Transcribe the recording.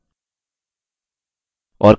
और query है: